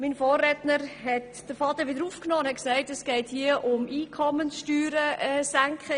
Mein Vorredner hat den Faden wieder aufgenommen und gesagt, es gehe um die Senkung von Einkommenssteuern.